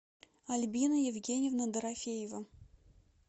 альбина евгеньевна дорофеева